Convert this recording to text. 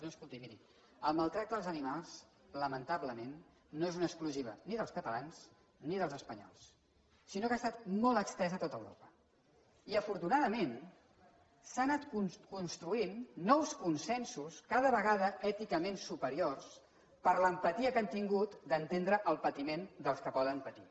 no escolti miri el maltractament dels animals lamentablement no és una exclusiva ni dels catalans ni dels espanyols sinó que ha estat molt estès a tot europa i afortunadament s’han anat construint nous consensos cada vegada èticament superiors per l’empatia que hem tingut d’entendre el patiment dels que poden patir